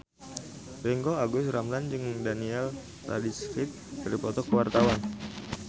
Ringgo Agus Rahman jeung Daniel Radcliffe keur dipoto ku wartawan